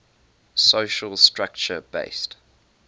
social structure based